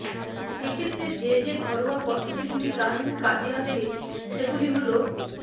এক্ষেত্রে যে যে ঘরোয়া পদ্ধতিগুলি দারুন কাজে আসে সেগুলি হল